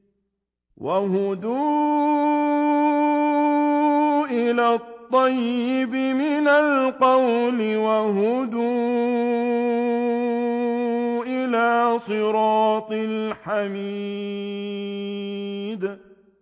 وَهُدُوا إِلَى الطَّيِّبِ مِنَ الْقَوْلِ وَهُدُوا إِلَىٰ صِرَاطِ الْحَمِيدِ